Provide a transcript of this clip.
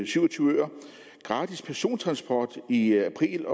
syv og tyve øer gratis persontransport i april